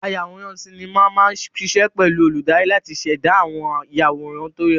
Ayàwòrán sinimá máa ṣiṣẹ́ pẹ̀lú olùdarí láti ṣẹ̀dá àwọn ìyàwòrán tó rẹwà.